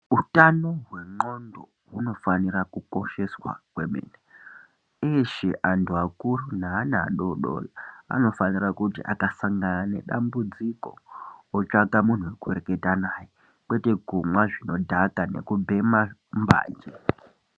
Utano hwe ndxondo huno fanira ku kosheswa kwemene uyezve antu akuru ne ana adodori anofanira kuti akasangana ne dambudziko otsvaka muntu weku reketa naye kwete kumwa zvino dhaka neku bhema mbanje.